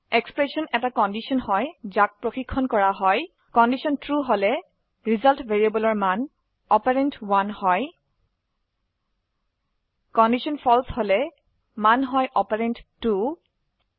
expression এটি condition হয় যাক প্ৰশিক্ষন কৰা হয় কন্ডিশন ট্ৰু হলে ৰিজাল্ট ভ্যাৰিয়েবলেৰ মান অপাৰেণ্ড 1হয় কন্ডিশন ফালছে হলে মান হয় অপাৰেণ্ড 2